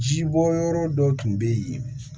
Ji bɔ yɔrɔ dɔ tun bɛ yen